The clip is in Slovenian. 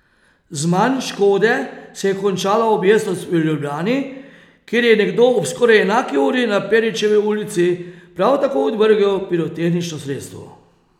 Z manj škode se je končala objestnost v Ljubljani, kjer je nekdo ob skoraj enaki uri na Peričevi ulici prav tako odvrgel pirotehnično sredstvo.